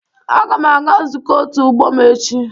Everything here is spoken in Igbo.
Aga m aga nzukọ òtù ọgbọ m echi.